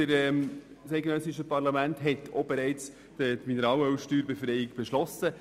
Das eidgenössische Parlament hat auch die Mineralölsteuerbefreiung beschlossen.